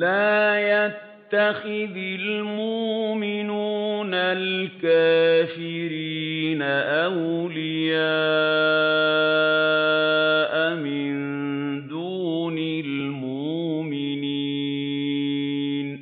لَّا يَتَّخِذِ الْمُؤْمِنُونَ الْكَافِرِينَ أَوْلِيَاءَ مِن دُونِ الْمُؤْمِنِينَ ۖ